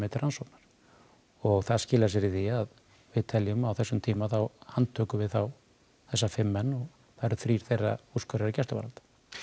til rannsóknar og það skilar sér í því að við teljum á þessum tíma þá handtökum við þessa fimm menn og þrír þeirra úrskurðaðir í gæsluvarðhald